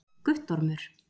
Guttormur